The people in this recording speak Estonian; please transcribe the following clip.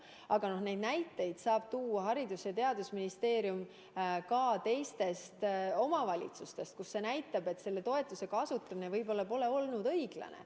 Aga neid näiteid saab tuua Haridus- ja Teadusministeerium ka teistest omavalitsustest, kus selle toetuse kasutamine pole võib-olla olnud õiglane.